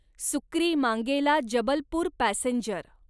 सुक्रीमांगेला Jabalpur passenger